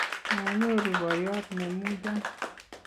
manyoru boyot ne muchon